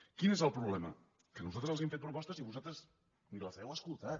quin és el problema que nosaltres els hem fet propostes i vosaltres ni les heu escoltades